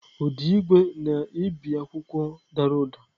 Ụda igwe na-ebi akwụkwọ dara ụda.